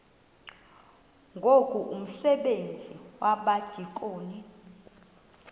ngoku umsebenzi wabadikoni